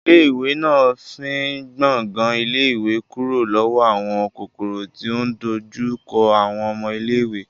Ilé ìwé náà fín gbàngan ilé ìwé kúrò lọ́wọ́ àwọn kòkòrò tí ò ń dojú kọ àwọn ọmọ iléèwé